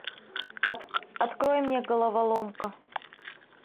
открой мне головоломка